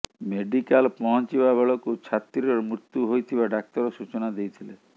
medical ପହଂଚିବା ବେଳକୁ ଛାତ୍ରୀର ମୃତ୍ୟୁ ହୋଇଥିବା ଡାକ୍ତର ସୂଚନା ଦେଇଥିଲେ